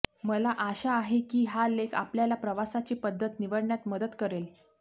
मला आशा आहे की हा लेख आपल्याला प्रवासाची पद्धत निवडण्यात मदत करेल